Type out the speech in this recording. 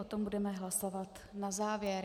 O tom budeme hlasovat na závěr.